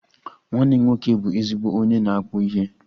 Nwanne m nwoke bụ ezigbo onye na-akpu ihe